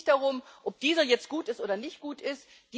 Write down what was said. Es ging nicht darum, ob Diesel jetzt gut ist oder nicht gut ist.